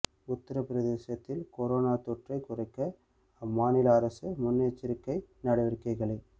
உத்தரப் பிரதேசத்தில் கொரோனா தொற்றை குறைக்க அம்மாநில அரசு முன்னெச்சரிக்கை நடவடிக்கைகளை